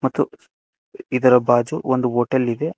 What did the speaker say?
ಮತ್ತು ಇದರ ಬಾಜು ಒಂದು ಹೋಟೆಲ್ ಇದೆ.